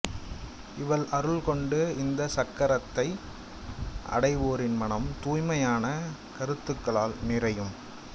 இவள் அருள் கொண்டு இந்த சக்ரத்தை அடைவோரின் மனம் தூய்மையான கருத்துக்களால் நிறையும்